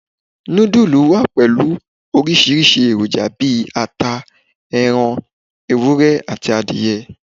Nudulú wá pẹlu orisirisi èròjà bí àtá, erán ewúrẹ́, àti adìye.